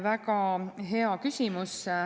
Väga hea küsimus.